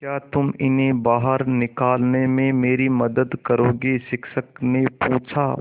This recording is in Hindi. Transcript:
क्या तुम इन्हें बाहर निकालने में मेरी मदद करोगे शिक्षक ने पूछा